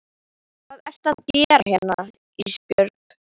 Hvað ertu að gera hérna Ísbjörg?